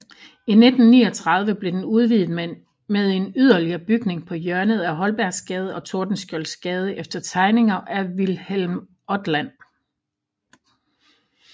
I 1939 blev den udvidet med en yderligere bygning på hjørnet af Holbergsgade og Tordenskjoldsgade efter tegninger af Wilhelm Odland